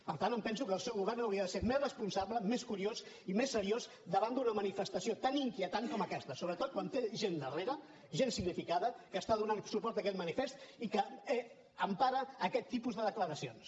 per tant em penso que el seu govern hauria de ser més responsable més curiós i més seriós davant d’una manifestació tan inquietant com aquesta sobretot quan té gent darrere gent significada que està donant suport a aquesta manifest i que empara aquest tipus de declaracions